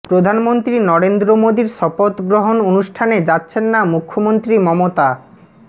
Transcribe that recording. প্রধানমন্ত্রী নরেন্দ্র মোদীর শপথ গ্রহণ অনুষ্ঠানে যাচ্ছেন না মুখ্যমন্ত্রী মমতা